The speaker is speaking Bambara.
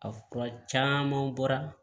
A fura caman bɔra